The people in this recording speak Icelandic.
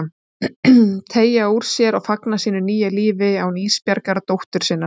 Teygja úr sér og fagna sínu nýja lífi án Ísbjargar dóttur sinnar.